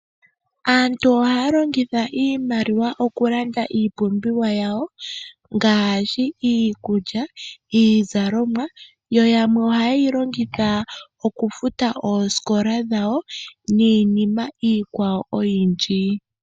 Aantu ohaya longitha iimaliwa okulanda iipumbiwa yawo ngaashi iikulya niizalomwa. Yamwe ohaye yi longitha okufuta oosikola dhawo niinima iikwawo oyindji.